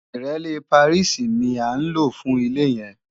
Ìrẹ́lé Pàríìsì ní à ń lò fún ilé yẹn